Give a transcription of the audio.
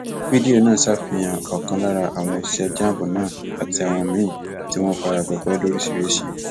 fídíò náà ṣàfihàn ọkan lára àwọn òṣìṣẹ cs] jamb náà àti àwọn míín tí wọn fara gbọgbẹ lóríṣìíríṣìí